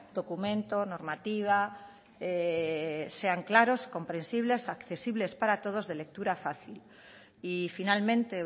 documento normativa sean claros comprensibles accesibles para todos de lectura fácil y finalmente